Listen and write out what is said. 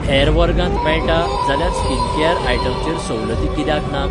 हेर वर्गांत मेळटा जाल्यार स्किनकेयर आयटम चेर सवलती कित्याक नात?